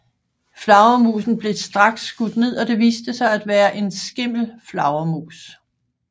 Flagermusen blev straks skudt ned og det viste sig at være en skimmelflagermus